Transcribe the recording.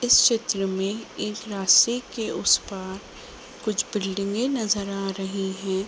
इस चित्र में एक रास्ते के उस पार कुछ बिल्डिंगे नजर आ रही हैं।